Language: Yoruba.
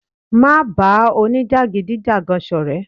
Má ba òní-jagidijagan sọrẹ.